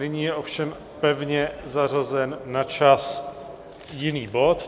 Nyní je ovšem pevně zařazen na čas jiný bod.